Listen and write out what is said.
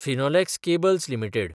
Finolex cables limited